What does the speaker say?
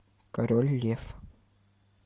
король лев